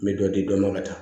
N bɛ dɔ di dɔ ma ka taa